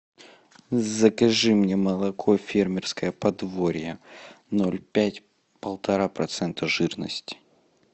закажи мне молоко фермерское подворье ноль пять полтора процента жирности